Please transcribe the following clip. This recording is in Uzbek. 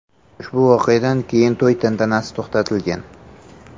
Ushbu voqeadan keyin to‘y tantanasi to‘xtatilgan.